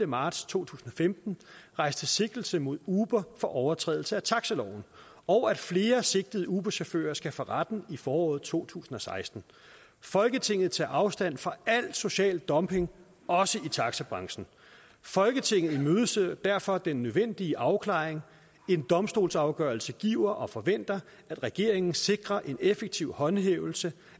marts to tusind og femten rejste sigtelse mod uber for overtrædelse af taxiloven og at flere sigtede uberchauffører skal for retten i foråret to tusind og seksten folketinget tager afstand fra al social dumping også i taxibranchen folketinget imødeser derfor den nødvendige afklaring en domstolsafgørelse giver og forventer at regeringen sikrer en effektiv håndhævelse